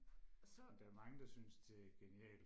og så